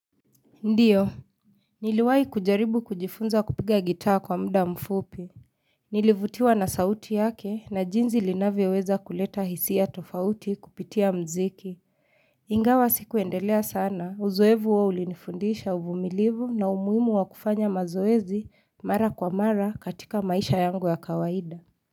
Ndiyo, niliwai kujaribu kujifunza kupiga gitaa kwa mda mfupi. Nilivutiwa na sauti yake na jinzi linavyo weza kuleta hisia tofauti kupitia mziki. Ingawa sikuendelea sana, uzoevu wao ulinifundisha uvumilivu na umuimu wa kufanya mazoezi mara kwa mara katika maisha yangu ya kawaida.